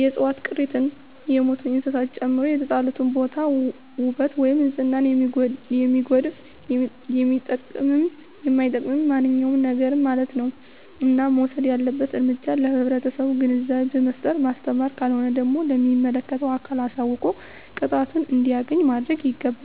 የዕፅዋት ቅሪትን የሞቱ እንስሳትን ጨምሮ የተጣለበትን ቦታ ዉበት ወይም ንፅህናን የሚያጎድፍ የሚጠቅምም የማይጠቅምም ማንኛዉም ነገርማለት ነዉ እና መወሰድ ያለበት እርምጃ ለህብረተሰቡ ግንዛቤ በመፍጠር ማስተማር ካልሆነ ደግሞ ለሚመለከተዉ አካል አሳዉቆ ቅጣቱን እንዲያገኝ ማድረግይገባል